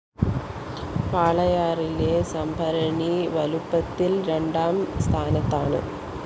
വാളയാറിലെ സംഭരണി വലുപ്പത്തില്‍ രണ്ടാം സ്ഥാനത്താണ്